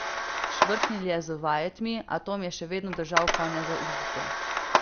Švrknil je z vajetmi, a Tom je še vedno držal konja za uzdo.